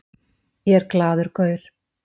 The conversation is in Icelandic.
Ég er glaður gaur.